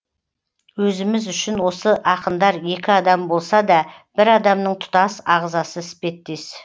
өзіміз үшін осы ақындар екі адам болса да бір адамның тұтас ағзасы іспеттес